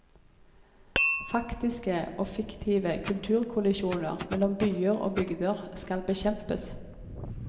Faktiske og fiktive kulturkollisjoner mellom byer og bygder skal bekjempes.